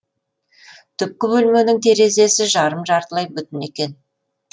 түпкі бөлменің терезесі жарым жартылай бүтін екен